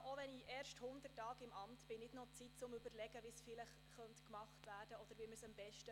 Selbst wenn ich erst 100 Tage im Amt bin, brauche ich nicht mehr Zeit, um zu überlegen, wie man es machen oder am besten machen könnte.